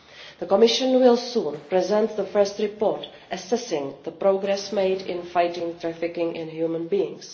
The Commission will soon present the first report assessing the progress made in fighting trafficking in human beings.